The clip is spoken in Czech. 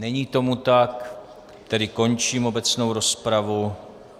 Není tomu tak, tedy končím obecnou rozpravu.